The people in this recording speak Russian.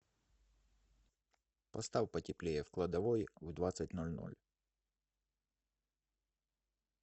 поставь потеплее в кладовой в двадцать ноль ноль